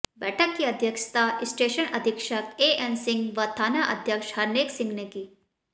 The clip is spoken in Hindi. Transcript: बैठक की अध्यक्षता स्टेशन अधीक्षक एएन सिंह वथाना अध्यक्ष हरनेक सिंह ने की